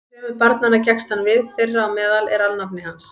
Þremur barnanna gekkst hann við, þeirra á meðal er alnafni hans.